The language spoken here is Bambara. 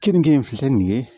Keninke fisa ni ye